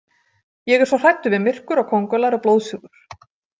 Ég er svo hræddur við myrkur og kóngulær og blóðsugur.